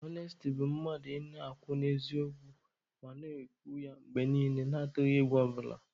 Ọnesti bụ mmadụ ị na-akwụ n'eziokwu ma na-ekwu ya mgbe niile na-atụghị egwu ọ bụla.